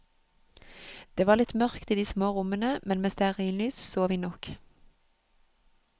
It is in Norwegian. Det var litt mørkt i de små rommene, men med stearinlys så vi nok.